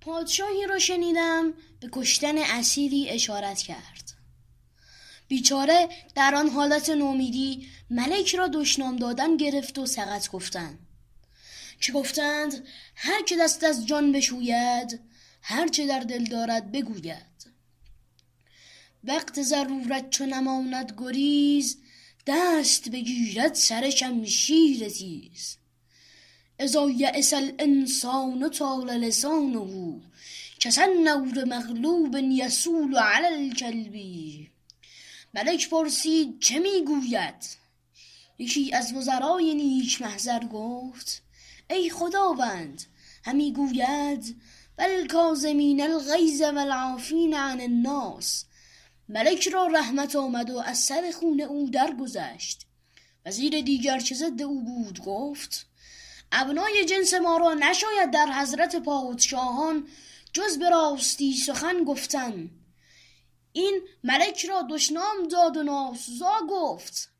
پادشاهی را شنیدم به کشتن اسیری اشارت کرد بیچاره در آن حالت نومیدی ملک را دشنام دادن گرفت و سقط گفتن که گفته اند هر که دست از جان بشوید هر چه در دل دارد بگوید وقت ضرورت چو نماند گریز دست بگیرد سر شمشیر تیز إذا ییس الإنسان طال لسانه کسنور مغلوب یصول علی الکلب ملک پرسید چه می گوید یکی از وزرای نیک محضر گفت ای خداوند همی گوید و الکاظمین الغیظ و العافین عن الناس ملک را رحمت آمد و از سر خون او درگذشت وزیر دیگر که ضد او بود گفت ابنای جنس ما را نشاید در حضرت پادشاهان جز به راستی سخن گفتن این ملک را دشنام داد و ناسزا گفت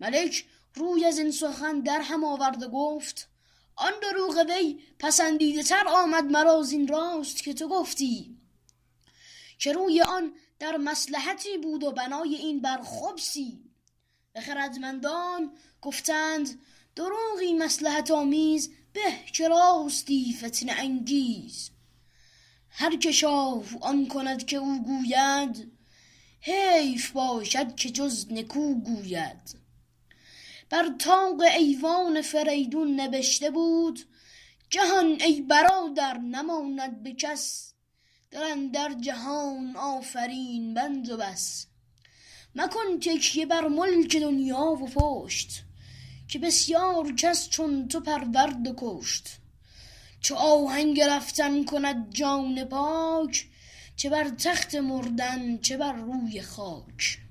ملک روی از این سخن در هم آورد و گفت آن دروغ وی پسندیده تر آمد مرا زین راست که تو گفتی که روی آن در مصلحتی بود و بنای این بر خبثی و خردمندان گفته اند دروغی مصلحت آمیز به که راستی فتنه انگیز هر که شاه آن کند که او گوید حیف باشد که جز نکو گوید بر طاق ایوان فریدون نبشته بود جهان ای برادر نماند به کس دل اندر جهان آفرین بند و بس مکن تکیه بر ملک دنیا و پشت که بسیار کس چون تو پرورد و کشت چو آهنگ رفتن کند جان پاک چه بر تخت مردن چه بر روی خاک